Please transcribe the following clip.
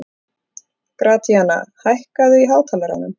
Gratíana, hækkaðu í hátalaranum.